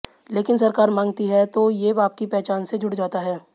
लेकिन सरकार मांगती है तो ये आपकी पहचान से जुड़ जाता है